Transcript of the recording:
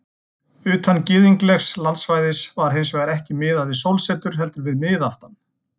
Utan gyðinglegs landsvæðis var hins vegar ekki miðað við sólsetur heldur við miðaftan.